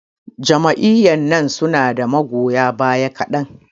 Jam'iyyan nan su na da magoya baya kaɗan.